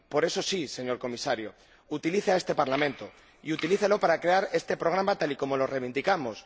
Por eso, sí, señor Comisario, utilice este Parlamento, y utilícelo para crear este programa tal y como lo reivindicamos.